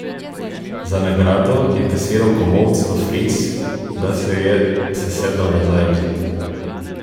Za nagrado je kasiral komolec v fris, da se je sesedel nazaj ob zid.